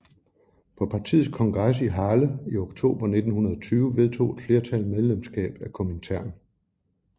På partiets kongres i Halle i oktober 1920 vedtog et flertal medlemskab af Komintern